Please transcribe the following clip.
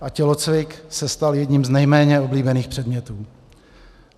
A tělocvik se stal jedním z nejméně oblíbených předmětů.